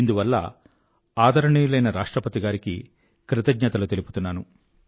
ఇందువల్ల ఆదరణీయులైన రాష్ట్రపతి గారికి కృతజ్ఞతలు తెలుపుతున్నాను